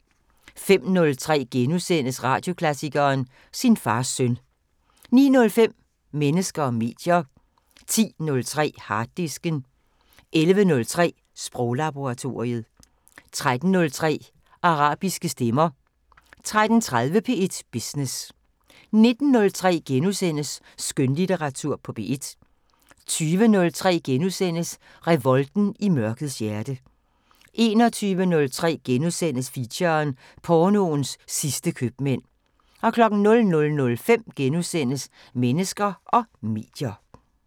05:03: Radioklassikeren: Sin fars søn * 09:05: Mennesker og medier 10:03: Harddisken 11:03: Sproglaboratoriet 13:03: Arabiske stemmer 13:30: P1 Business 19:03: Skønlitteratur på P1 * 20:03: Revolten i mørkets hjerte * 21:03: Feature: Pornoens sidste købmænd * 00:05: Mennesker og medier *